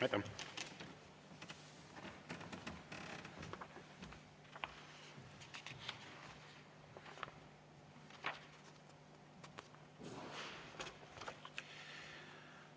Aitäh!